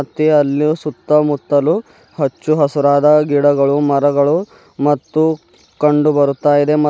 ಮತ್ತೆ ಅಲ್ಲಿಯೂ ಸುತ್ತಮುತ್ತಲು ಹಚ್ಚು ಹಸುರಾದ ಗಿಡಗಳು ಮರಗಳು ಮತ್ತು ಕಂಡು ಬರ್ತಾ ಇದೆ ಮ--